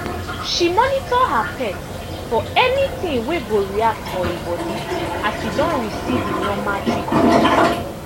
she monitor her pet for any thing wey go react for e body as e don receive e normal treatment